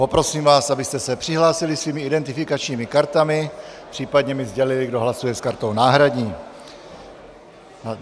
Poprosím vás, abyste se přihlásili svými identifikačními kartami, případně mi sdělili, kdo hlasuje s kartou náhradní.